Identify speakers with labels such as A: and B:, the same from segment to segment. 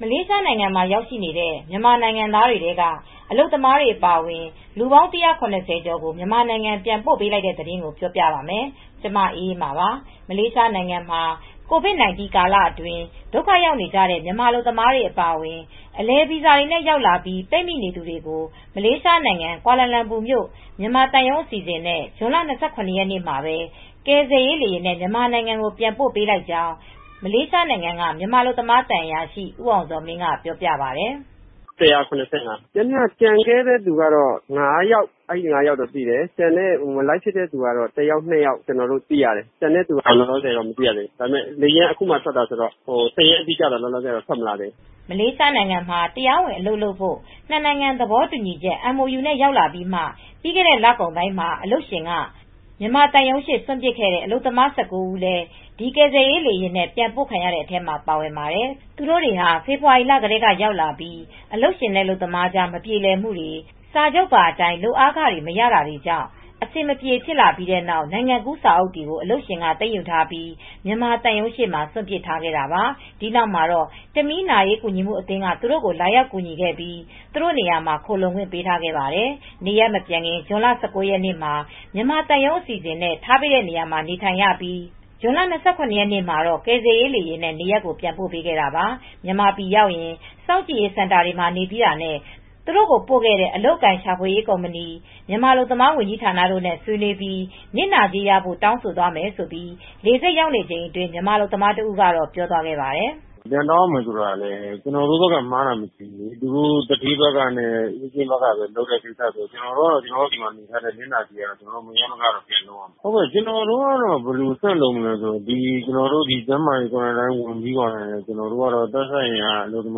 A: မလေးရှားနိုင်ငံမှာ ရောက်နေတဲ့ မြန်မာနိုင်ငံသားတွေထဲက အလုပ်သမားတွေ အပါအဝင် လူပေါင်း ၁၇၀ ကျော်ကို မြန်မာနိုင်ငံ ပြန်ပို့ပေးလိုက်ပါတယ်။ အပြည့်အစုံကို ထိုင်းအခြေစိုက် ဗွီအိုအေ မြန်မာပိုင်း သတင်းထောက် မအေးအေးမာ တင်ပြပေးထားပါတယ်။ မလေးရှားနိုင်ငံမှာ COVID-19 ကာလအတွင်း ဒုက္ခရောက်နေကြတဲ့ မြန်မာအလုပ်သမားတွေ အပါအဝင် အလည်အပတ် ဗီဇာတွေနဲ့ ရောက်လာပြီး ပိတ်မိနေသူတွေကို မလေးရှားနိုင်ငံ ကွာလာလမ်ပူမြို့ မြန်မာသံရုံး အစီအစဉ်နဲ့ ဇွန်လ ၂၇ ရက်နေ့မှာပဲ ကယ်ဆယ်ရေးလေယာဉ်နဲ့ မြန်မာနိုင်ငံကို ပြန်ပို့ပေးလိုက်ကြောင်း မလေးရှားနိုင်ငံက မြန်မာအလုပ်သမား သံအရာရှိ ဦးအောင်ဇော်မင်းက ပြောပြပါတယ်။ "၁၇၅ ယောက
B: ် ပြန်မယ့်သူရှိတယ်။ ကျန်ခဲ့တဲ့သူက ၅ ယောက်ရှိတယ်။ မလိုက်ဖြစ်တဲ့သူက တယောက်နှစ်ယောက်တော့ ရှိတယ်။ အခုမှ လေယာဉ်က ထွက်တာဆိုတော့ စာရင်းအတိအကျ သေချာမသိသေးဘ
A: ူး။" မလေးရှားမှာ တရားဝင်အလုပ်လုပ်ဖို့ နှစ်နိုင်ငံသဘောတူညီချက် MoU နဲ့ ရောက်လာပြီးမှ ပြီးခဲ့တဲ့လကုန်ပိုင်းမှာ အလုပ်ရှင်က မြန်မာသံရုံးရှေ့ စွန့်ပစ်ခဲ့တဲ့ အလုပ်သမား ၁၉ ဦးလည်း ဒီကယ်ဆယ်ရေးလေယာဉ်နဲ့ ပြန်ပို့ခံရတဲ့အထဲ ပါဝင်ပါတယ်။ သူတို့တွေဟာ ဖေဖော်ဝါရီလက ရောက်လာပြီး အလုပ်ရှင် အလုပ်သမားကြား မပြေလည်မှုတွေ၊ စာချုပ်ပါအတိုင်း လုပ်အားခ မရတာတွေကြောင့် အဆင်မပြေ ဖြစ်ပြီးတဲ့နောက် နိုင်ငံကူးစာအုပ်တွေ အလုပ်ရှင်က သိမ်းယူထားပြီး မြန်မာသံရုံးရှေ့မှာ စွန့်ပစ်ခဲ့တာပါ။ ဒီနောက်မှာတေ့ာ တမီလ် နာရေးကူညီမှုအသင်းက သူတို့ကို လာရောက်ကူညီခဲ့ပြီး သူတို့နေရာမှာ ခိုလှုံခွင့် ပေးထားခဲ့ပါတယ်။ နေရပ်မပြန်ခင် ဇွန်လ ၁၉ ရက်နေ့မှာ မြန်မာသံရုံး အစီအစဉ်နဲ့ ထားပေးတဲ့နေရာမှာ နေထိုင်ရပြီး ဇွန်လ ၂၇ ရက်နေ့မှာတော့ ကယ်ဆယ်ရေးလေယာဉ်နဲ့ နေရပ်ပြန်ပို့ပေးခဲ့တာပါ။ မြန်မာပြည်ပြန်ရောက်ရင် စောင့်ကြည့်ရေးစင်တာတွေမှာ နေပြီးတာနဲ့ သူတို့ကိုပို့ခဲ့တဲ့ အလုပ်အကိုင်ရှာဖွေရေး ကုမ္ပဏီ၊ မြန်မာအလုပ်သမား ဝန်ကြီးဌာနတို့နဲ့ ဆွေးနွေးပြီး နစ်နာကြေးရဖို့ တောင်းဆိုသွားမယ်လို့ လေဆိပ်မှာ ရောက်နေချိန်အတွင်း မြန်မာအလုပ်သမားတဦးကတော့ ပြောသွားပါတယ်။ "
B: ပြန်တောင်းရမယ် ဆိုတာကတော့ ကျနော်တို့က မှားတာမရှိဘူး။ သူဌေးနဲ့ အေးဂျင့်ဘက်ကတော့ ဆက်လုပ်ပေးရမှာပဲ။ ကျနော်တို့ ဒီမှာနေရတဲ့ နစ်နာကြေးကတော့ မရမနေ ပြန်ရဖို့ ဆက်လုပ်ရမှာပဲ။ ကျနော်တို့က ကျန်းမာရေးအရ သက်ဆိုင်ရာ စောင့်ကြည့်ရေးစင်တာတွေမှာ နေပြီးရင်တော့ အလုပ်သ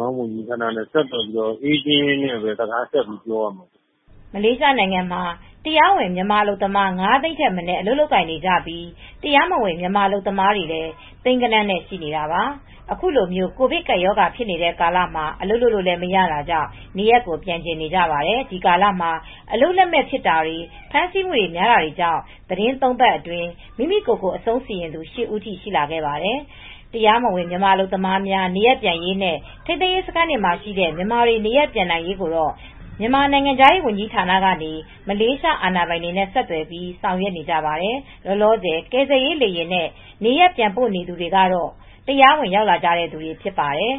B: မားဝန်ကြီးဌာနကို ဆက်သွယ်ပြီး အေးဂျင့်နဲ့ စကားဆက်ပြောရမှာပဲ
A: ။" မလေးရှားနိုင်ငံမှာ တရားဝင် မြန်မာအလုပ်သမား ၅ သိန်းထက်မနည်း အလုပ်လုပ်ကိုင်နေကြပြီး တရားမဝင် မြန်မာလုပ်သားကလည်း သိန်းဂဏန်းနဲ့ ရှိနေတာပါ။ အခုလို ကိုဗစ်ကပ်ရောဂါ ဖြစ်နေတဲ့ကာလမှာ အလုပ်လုပ်လို့ မရတာကြောင့် နေရပ်ကို ပြန်ချင်နေကြပါတယ်။ ဒီကာလမှာ အလုပ်လက်မဲ့ ဖြစ်တာတွေ ဖမ်းဆီးမှုတွေ များတာကြောင့် သီတင်း ၃ ပတ်အတွင်း မိမိကိုယ်ကိုယ် အဆုံးစီရင်သူ ၈ ဦးထိ ရှိခဲ့ပါတယ်။ တရားမဝင် မြန်မာအလုပ်သမားများ နေရပ်ပြန်ရေးနဲ့ ထိန်းသိမ်းရေးစခန်းမှာရှိတဲ့ မြန်မာတွေ နေရပ်ပြန်နိုင်ရေးကိုတော့ မြန်မာ နိုင်ငံခြားရေး ဝန်ကြီးဌာနကနေ မလေးရှား အာဏာပိုင်တွေနဲ့ ဆက်သွယ်ပြီး ဆောင်ရွက်နေကြပါတယ်။ လောလောဆယ် ကယ်ဆယ်ရေးလေယာဉ်နဲ့ နေရပ်ပြန်ပို့နေသူတွေကတော့ တရားဝင်လာကြတဲ့သူတွေ ဖြစ်ပါတယ်။